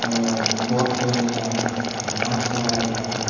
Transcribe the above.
और ओ कोट पहनी है माक्स लगाई है।